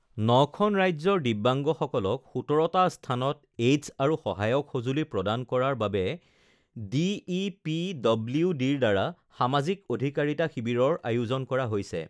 ৯খন ৰাজ্যৰ দিব্যাংগসকলক ১৭টা স্থানত এইডছ আৰু সহায়ক সঁজুলি প্ৰদান কৰাৰ বাবে ডিইপিডব্লিউডিৰ দ্বাৰা সমাজিক অধিকাৰিতা শিৱিৰৰ আয়োজন কৰা হৈছে